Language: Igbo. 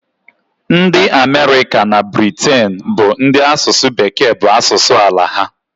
Ndị Amerịka na Briten bụ ndị asụsụ Bekee bụ asụsụ ala ha.